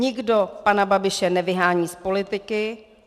Nikdo pana Babiše nevyhání z politiky.